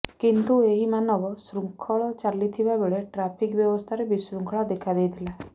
କିନ୍ତୁ ଏହି ମାନବ ଶୃଙ୍ଖଳ ଚାଲିଥିବା ବେଳେ ଟ୍ରାଫିକ୍ ବ୍ୟବସ୍ଥାରେ ବିଶୃଙ୍ଖଳା ଦେଖା ଦେଇଥିଲା